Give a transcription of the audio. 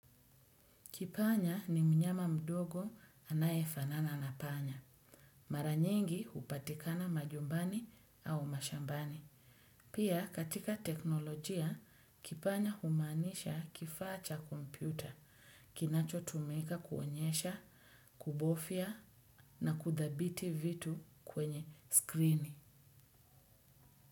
Kipanya ni mnyama mdogo anayefanana na panya. Mara nyingi hupatikana manyumbani au mashambani. Pia katika teknolojia, kipanya humaanisha kifaa cha kompyuta, kinachotumika kuonyesha, kubofia na kuthabiti vitu kwenye screen.